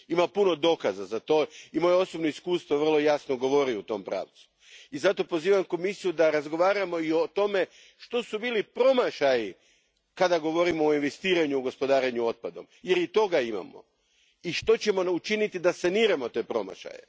Ima puno dokaza za to i moje osobno iskustvo vrlo jasno govori u tom pravcu i zato pozivam Komisiju da razgovaramo i o tome što su bili promašaji kada govorimo o investiranju u gospodarenju otpadom, jer i toga imamo, i što ćemo učiniti da saniramo te promašaje.